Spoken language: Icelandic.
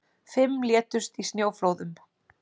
Fimm létust í snjóflóðum